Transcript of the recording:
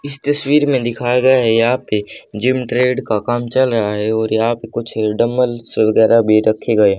इस तस्वीर मे दिखाया गया है यहां पे जिम ट्रेड का काम चल रहा है और यहां पे कुछ ये डंबल्स वगैरा भी रखे गए।